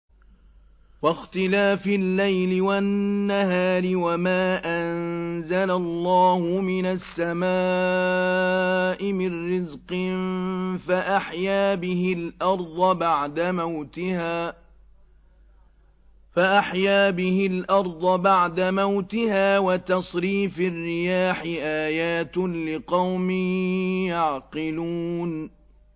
وَاخْتِلَافِ اللَّيْلِ وَالنَّهَارِ وَمَا أَنزَلَ اللَّهُ مِنَ السَّمَاءِ مِن رِّزْقٍ فَأَحْيَا بِهِ الْأَرْضَ بَعْدَ مَوْتِهَا وَتَصْرِيفِ الرِّيَاحِ آيَاتٌ لِّقَوْمٍ يَعْقِلُونَ